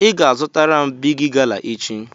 Ị ga-azụtara m Bigi gala echi!